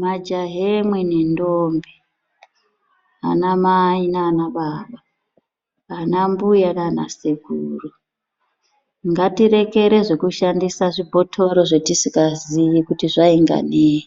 Majaha emweni ndombe , anamai nanababa , anambuya nanasekuru ngatirekere zvekushandisa zvibhotoro zvatisingaziyi kuti zvainga neyi